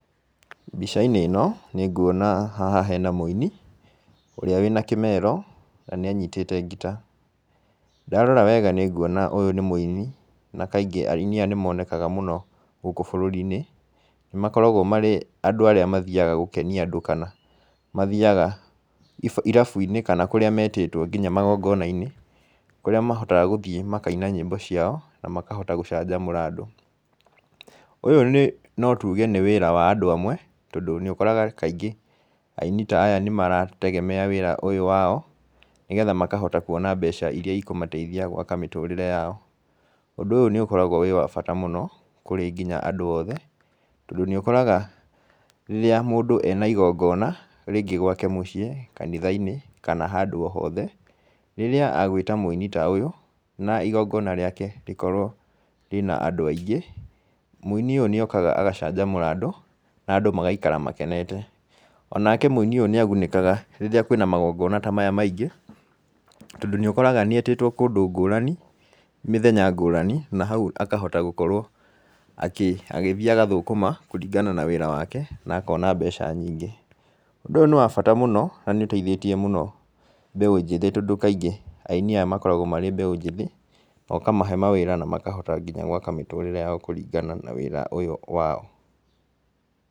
Mbica-inĩ ĩno nĩnguona haha hena mũini ũrĩa wĩna kĩmero, na nĩanyitĩte ngita. Ndarora wega nĩnguona ũyũ nĩ mũini na kaingĩ aini aya nĩmonekaga mũno gũkũ bũrũri-inĩ. Nĩmakoragwo marĩ andũ arĩa mathiaga gũkenia andũ kana mathiaga irabu-inĩ kana kũrĩa metĩtwo kinya magongona-inĩ, kũrĩa mahotaga gũthiĩ makaina nyĩmbo ciao na makahota gũcanjamũra andũ. Ũyũ nĩ no tuge nĩ wĩra wa andũ amwe, tondũ nĩũkoraga kaingĩ aini ta aya nĩmarategemea wĩra ũyũ wao nĩgetha makahota kuona mbeca iria ikũmateithia gwaka mĩtũrĩre yao. Ũndũ ũyũ nĩũkoragwo ũrĩ wa bata mĩno kinya kũrĩ andũ othe, tondũ nĩũkoraga rĩrĩa mũndũ ena igongona rĩngĩ gwake mũciĩ, kanitha-inĩ kana handũ o hothe, rĩrĩa agwĩta mũini ta ũyũ na igongona rĩake rĩkorwo rĩna andũ aingĩ, mũini ũyũ nĩokaga agacanjamũra andũ na andũ magaikara makenete. Onake mũini ũyũ nĩagunĩkaga rĩrĩa kwĩna magongona ta maya maingĩ, tondũ nĩũkoraga nĩetĩtwo kũndũ ngũrani mĩthenya ngũrani, na hau akahota gũkorwo agĩthiĩ agathũkũma kũringana na wĩra wake, na akona mbeca nyingĩ. Ũndũ ũyũ nĩ wa bata mũno na nĩũteithĩtie mũno mbeũ njĩthĩ tondũ kaingĩ aini aya makoragwo marĩ mbeũ njĩthĩ, na ũkamahe mawĩra na makahota nginya gwaka mĩtũrĩre yao kũringana na wĩra ũyũ wao.